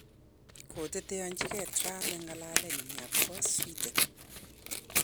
Koteteanchigei Trump eng ng'alalenyi akobo Sweden